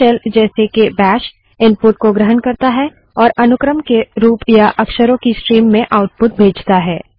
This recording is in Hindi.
लिनक्स शेल जैसे के बैश इनपुट को ग्रहण करता है और अनुक्रम के रूप या अक्षरों की स्ट्रीम में आउटपुट भेजता है